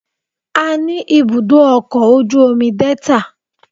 A ní ibùdó ọkọ̀ ojú omi Delta